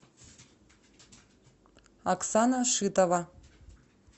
оксана шитова